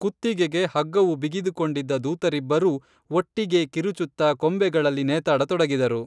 ಕುತ್ತಿಗೆಗೆ ಹಗ್ಗವು ಬಿಗಿದುಕೊಂಡಿದ್ದ ದೂತರಿಬ್ಬರೂ ಒಟ್ಟಿಗೆ ಕಿರುಚುತ್ತಾ ಕೊಂಬೆಗಳಲ್ಲಿ ನೇತಾಡ ತೊಡಗಿದರು